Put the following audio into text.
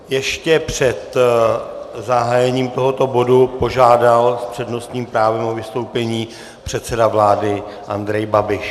Ještě před zahájením tohoto bodu požádal s přednostním právem o vystoupení předseda vlády Andrej Babiš.